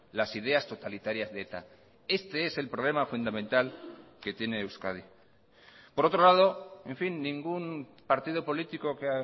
las ideas totalitarias de eta este es el problema fundamental que tiene euskadi por otro lado en fin ningún partido político que